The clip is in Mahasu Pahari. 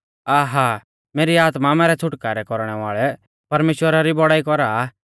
आ… हा… मेरी आत्मा मैरै छ़ुटकारौ कौरणै वाल़ै परमेश्‍वरा री बौड़ाई कौरा आ